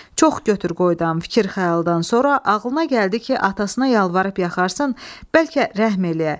Çox götür-qoydan, fikir-xəyaldan sonra ağlına gəldi ki, atasına yalvarıb yaxarsın, bəlkə rəhm eləyə.